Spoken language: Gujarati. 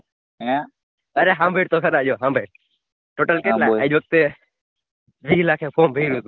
અરે સાભડ તો ખરા જો સાભડ Total કેટલા આજ આવખ્તે વિહ લાખે પોગે